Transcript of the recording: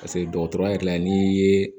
Paseke dɔgɔtɔrɔ yɛrɛ n'i ye